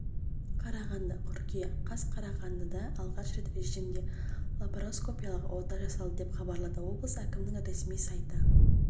қарағанды қыркүйек қаз қарағандыда алғаш рет режимде лапароскопиялық ота жасалды деп хабарлады облыс әкімінң ресми сайты